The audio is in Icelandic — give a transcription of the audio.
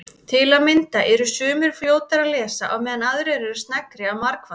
Til að mynda eru sumir fljótari að lesa á meðan aðrir eru sneggri að margfalda.